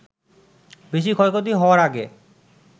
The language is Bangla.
বেশি ক্ষয়ক্ষতি হওয়ার আগে